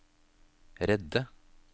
redde